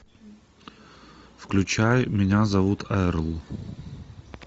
включай меня зовут эрл